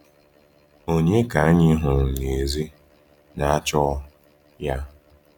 Ònye ka anyị hụrụ n’èzí na-achọ ya?